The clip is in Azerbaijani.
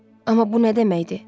Amma bu nə deməkdir?